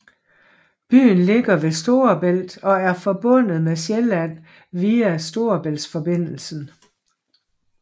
Byen ligger ved Storebælt og er forbundet med Sjælland via Storebæltsforbindelsen